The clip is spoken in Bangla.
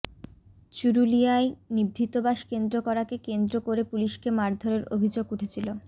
চুরুলিয়ায় নিভৃতবাস কেন্দ্র করাকে কেন্দ্র করে পুলিশকে মারধরের অভিযোগ উঠেছিল